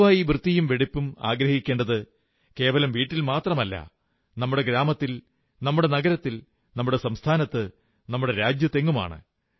പൊതുവായി വൃത്തിയും വെടിപ്പും ആഗ്രഹിക്കേണ്ടത് കേവലം വീട്ടിൽ മാത്രമല്ല നമ്മുടെ ഗ്രാമത്തിൽ നമ്മുടെ നഗരത്തിൽ നമ്മുടെ സംസ്ഥാനത്ത് നമ്മുടെ രാജ്യത്തെങ്ങുമാണ്